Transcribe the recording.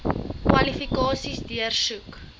kwalifikasies deursoek